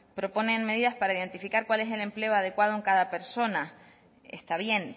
proponen medidas para identificar cuál es el empleo adecuado en cada persona está bien